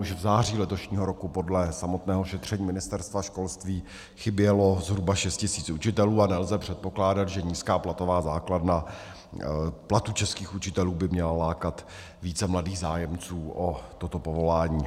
Už v září letošního roku podle samotného šetření Ministerstva školství chybělo zhruba šest tisíc učitelů a nelze předpokládat, že nízká platová základna platů českých učitelů by měla lákat více mladých zájemců o toto povolání.